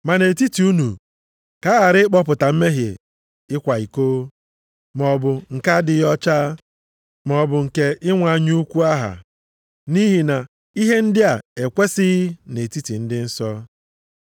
Ma nʼetiti unu, ka a ghara ịkpọta mmehie ịkwa iko, maọbụ nke adịghị ọcha, maọbụ nke inwe anya ukwu aha, nʼihi na ihe ndị a ekwesighị nʼetiti ndị nsọ.